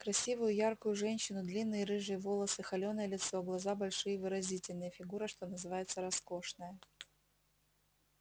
красивую яркую женщину длинные рыжие волосы холеное лицо глаза большие выразительные фигура что называется роскошная